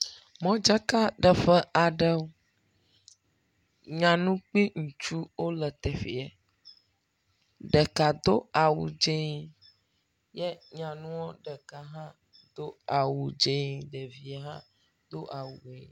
Modzakaɖeƒe aɖewo. Nyanu kpli ŋutsu wole teƒeɛ, ɖeka do awu dzee ye nyanuɔ ɖeka hã do awu dzee, ɖevie hã do awu ʋe..